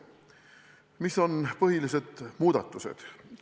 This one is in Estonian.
Mis on põhilised muudatused?